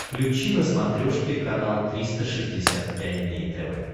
включи на смотрешке канал триста шестьдесят пять дней тв